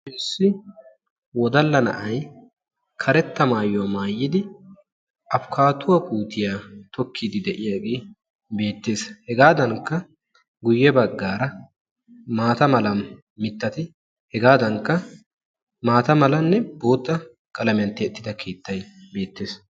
Issi wodalla na'ay karetta maayuwaa maayidi afikaaduwaa puutiyaa tokkidi de'iyaagee beettees. hegaadankka guye baggaara maata mala mittati hegaankka maata malanne bootta qalamiyaan tiyettidi uttidagee beettees.